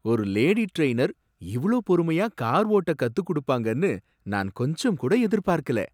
ஒரு lady trainer இவ்ளோ பொறுமையா கார் ஓட்ட கத்துக்குடுப்பாங்கன்னு நான் கொஞ்சம்கூட எதிர்பார்க்கல!